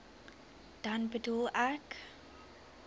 dan bedoel ek